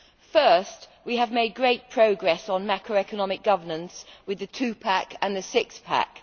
First, we have made great progress on macroeconomic governance with the Two Pack and the Six Pack.